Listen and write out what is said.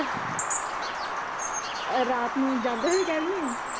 ਅਹ ਰਾਤ ਨੂੰ ਜਾਂਦੇ ਹੋਏ ਕਹਿ ਰਹੀ ਹੈ